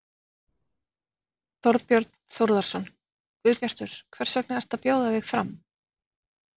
Þorbjörn Þórðarson: Guðbjartur, hvers vegna ertu að bjóða þig fram?